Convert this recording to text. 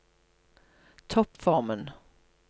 toppformen